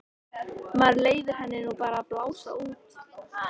Maður leyfir henni nú bara að blása út.